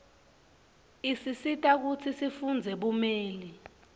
isisita kutsi sifundzele bumeli